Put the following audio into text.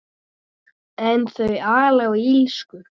En þau ala á illsku.